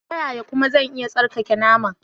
Ta yaya kuma zan iya tsarkake naman?